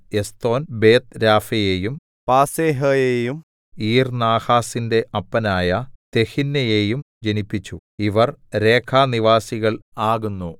Eshton ബേത്ത്രാഫയെയും പാസേഹയെയും ഈർനാഹാസിന്റെ അപ്പനായ തെഹിന്നയെയും ജനിപ്പിച്ചു ഇവർ രേഖാനിവാസികൾ ആകുന്നു